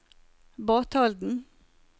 Batalden